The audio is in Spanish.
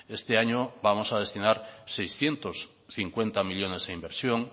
este año vamos a destinar seiscientos cincuenta millónes a inversión